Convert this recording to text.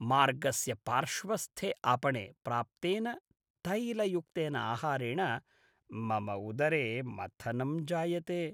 मार्गस्य पार्श्वस्थे आपणे प्राप्तेन तैलयुक्तेन आहारेण मम उदरे मथनं जायते।